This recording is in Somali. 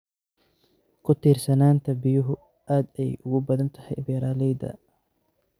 Ku tiirsanaanta biyuhu aad ayay ugu badan tahay beeralayda.